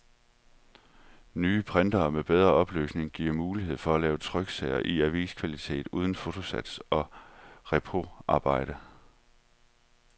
Nye printere med bedre opløsning giver mulighed for at lave tryksager i aviskvalitet uden fotosats og reproarbejde.